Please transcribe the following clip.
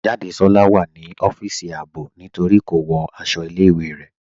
Jádésọla wà ní ọfisì àábò ní torí kò wọ́ àṣọ̀ ilẹ̀-ìwé rẹ.